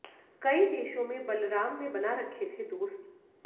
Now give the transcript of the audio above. कई देशों में बलराम ने बना रखे थे दोस्त